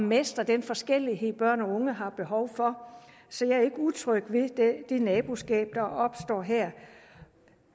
mestre den forskellighed børn og unge har behov for så jeg er ikke utryg ved det naboskab der opstår her